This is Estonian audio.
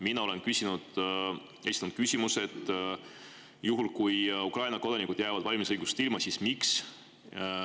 Mina olen küsinud, esitanud küsimuse, et juhul kui Ukraina kodanikud jäävad valimisõigusest ilma, siis miks.